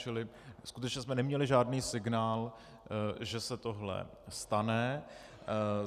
Čili skutečně jsme neměli žádný signál, že se tohle stane.